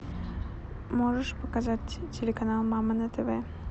можешь показать телеканал мама на тв